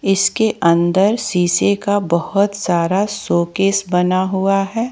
इसके अंदर शीशे का बहुत सारा शोकेस बना हुआ है।